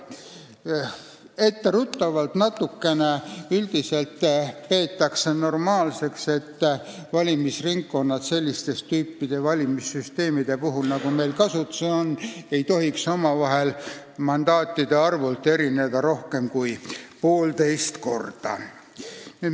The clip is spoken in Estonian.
Etteruttavalt ütlen, et üldiselt peetakse normaalseks, et valimisringkonnad ei tohiks sellist tüüpi valimissüsteemide puhul, nagu meil kasutusel on, mandaatide arvult erineda rohkem kui poolteist korda.